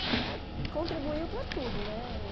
que contribuiu para tudo, né?